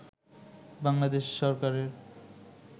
বাংলাদেশ সরকারের